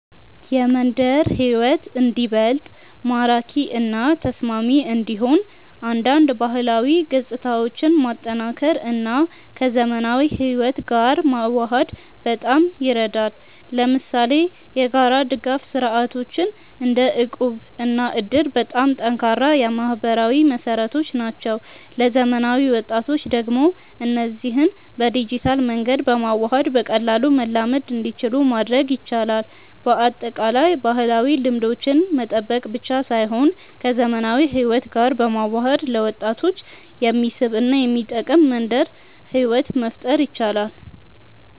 የመንደር ሕይወት እንዲበልጥ ማራኪ እና ተስማሚ እንዲሆን አንዳንድ ባህላዊ ገጽታዎችን ማጠናከር እና ከዘመናዊ ሕይወት ጋር መዋሃድ በጣም ይረዳል። ለምሳሌ የጋራ ድጋፍ ስርዓቶች እንደ እቁብ እና እድር በጣም ጠንካራ የማህበራዊ መሰረቶች ናቸው። ለዘመናዊ ወጣቶች ደግሞ እነዚህን በዲጂታል መንገድ በማዋሃድ በቀላሉ መላመድ እንዲችሉ ማድረግ ይቻላል። በአጠቃላይ፣ ባህላዊ ልምዶችን መጠበቅ ብቻ ሳይሆን ከዘመናዊ ሕይወት ጋር በመዋሃድ ለወጣቶች የሚስብ እና የሚጠቅም መንደር ሕይወት መፍጠር ይቻላል።